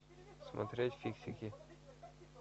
смотреть фиксики